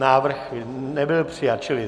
Návrh nebyl přijat.